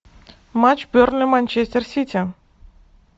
матч бернли манчестер сити